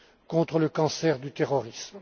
contre le cancer du terrorisme.